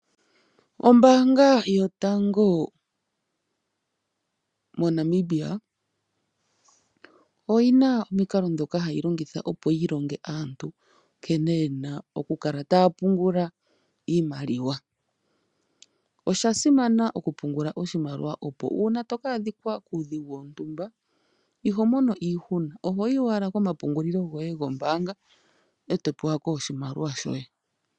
Ombaanga yotango moNamibia oyina omukalo ngoka hayi longitha opo yi longe aantu nkene yena oku kala taya pungula iimaliwa. Osha simana oku pungula oshimaliwa oshoka uuna toka adhi kwa kuudhigu wontumba, iho mono iihuna, ohoyi owala kompungulilo goye gombaanga, e to pewa ko oshimaliwa shoye.